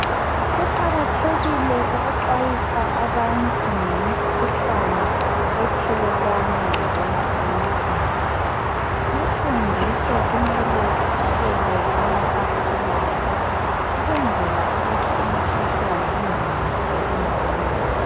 Kuqakathekile ukuxwayisa abantu ngemikhuhlane ethelelwana ngokwemacansini. Imfundiso kumele isukele kwabasakhulayo ukwenzela ukuthi imikhuhlane ingamemetheki ngobunengi.